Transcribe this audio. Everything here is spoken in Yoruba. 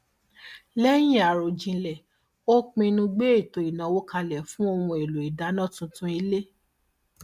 lẹyìn àròjinlẹ ó pinnu gbé ètò ìnáwó kalẹ fún ohun èlò ìdáná tuntun ilé